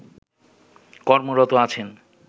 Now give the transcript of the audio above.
কর্মরত আছেন